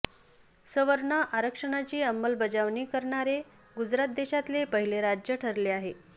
सवर्ण आरक्षणाची अंमलबजावणी करणारे गुजरात देशातले पहिले राज्य ठरले आहे